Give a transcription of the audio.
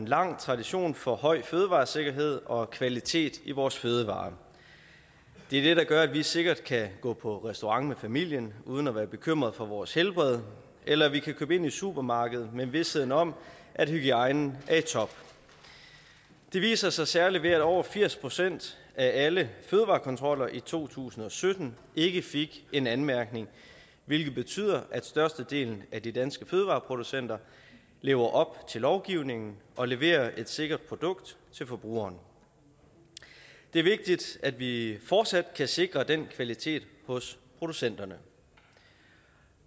lang tradition for høj fødevaresikkerhed og kvalitet i vores fødevarer det er det der gør at vi sikkert kan gå på restaurant med familien uden at være bekymrede for vores helbred eller at vi kan købe ind i supermarkedet med visheden om at hygiejnen er i top det viser sig særlig ved at over firs procent af alle fødevarekontroller i to tusind og sytten ikke fik en anmærkning hvilket betyder at størstedelen af de danske fødevareproducenter lever op til lovgivningen og leverer et sikkert produkt til forbrugere det er vigtigt at vi fortsat kan sikre den kvalitet hos producenterne